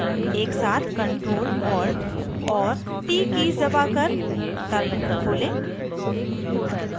एक साथ ctrl + alt और t कीज़ दबाकर terminal खोलें